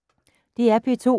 DR P2